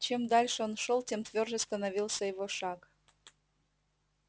чем дальше он шёл тем твёрже становился его шаг